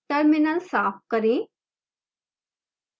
terminal साफ करें